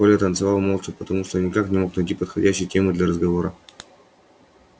коля танцевал молча потому что никак не мог найти подходящей темы для разговора